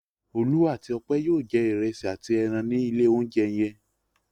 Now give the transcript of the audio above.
Olú àti Ọpẹ́ yóò jẹ ìrẹsì àti ẹran ní ilé-oúnjẹ yẹn.